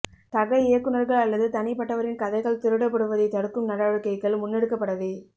சக இயக்குநர்கள் அல்லது தனிப்பட்டவரின் கதைகள் திருடப்படுவதை தடுக்கும் நடவடிக்கைகள் முன்னெடுக்கப்பட வே